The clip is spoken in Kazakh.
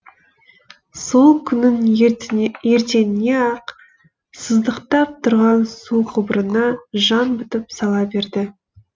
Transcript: сол күннің ертеңіне ақ сыздықтап тұрған су құбырына жан бітіп сала берді